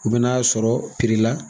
U bɛna'a sɔrɔ